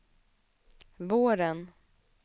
våren